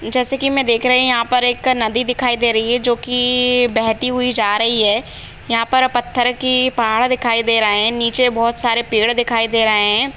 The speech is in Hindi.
जैसा कि मैं देख रहे यहाँ पर एक नदी दिखाई दे रही है जो कि बहती हुई जा रही है यहाँ पर पत्थर कि पहाड़ दिखाई दे रहे हैं नीचे बहुत सारे पेड़ दिखाई दे रहे हैं।